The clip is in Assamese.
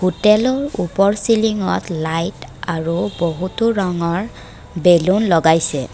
হোটেলৰ ওপৰ চিলিংত লাইট আৰু বহুতো ৰঙৰ বেলুন লগাইছে।